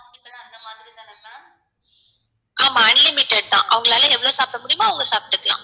ஆமா unlimited தான் அவங்களால எவ்ளோ சாப்ட முடியுமோ அவங்க சாப்ட்டுக்கலாம்